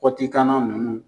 Kɔti kan na nunnu.